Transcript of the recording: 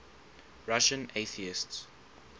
russian atheists